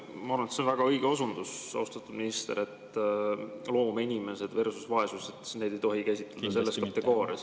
Ma arvan, et see on väga õige osundus, austatud minister, loovinimesed versus vaesus – neid ei tohi käsitleda selles kategoorias.